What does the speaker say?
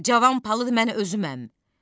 Cavan palıd mən özüməm.